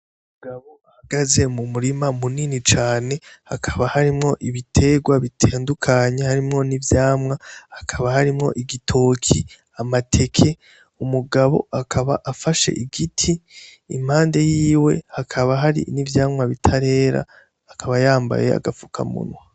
Abagabo bahagaze mu murima munini cane , hakaba harimwo ibitegwa bitandukanye , harimwo n'ivyamwa, hakaba harimwo igitoke , amateke. Umugabo akaba afashe igiti impande yiwe hakaba hari n'ivyamwa bitarera akaba yambaye aga fukamunwa.